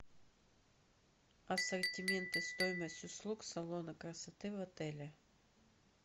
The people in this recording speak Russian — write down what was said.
ассортимент и стоимость услуг салона красоты в отеле